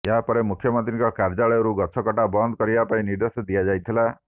ଏହାପରେ ମୁଖ୍ୟମନ୍ତ୍ରୀଙ୍କ କାର୍ଯ୍ୟାଳୟରୁ ଗଛକଟା ବନ୍ଦ କରିବା ପାଇଁ ନିର୍ଦ୍ଦେଶ ଦିଆଯାଇଥିଲା